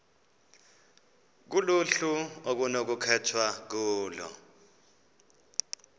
kuluhlu okunokukhethwa kulo